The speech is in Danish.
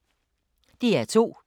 DR2